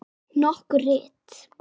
Nokkur rit